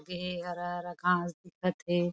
लगे हे हरा-हरा घास दिखत थे।